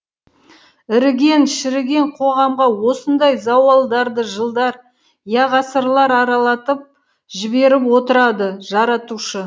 іріген шіріген қоғамға осындай зауалдарды жылдар я ғасырлар аралатып жіберіп отырады жаратушы